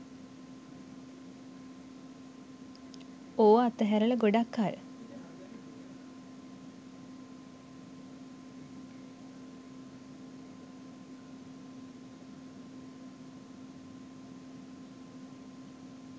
ඕව අතැරල ගොඩක් කල්